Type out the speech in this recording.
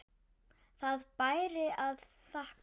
Það bæri að þakka.